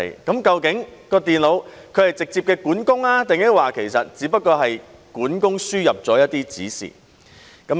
究竟電腦是直接的管工，抑或只不過是管工輸入了一些指示？